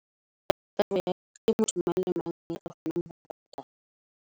Ke ntho eo mang le mang aka kgonang ho .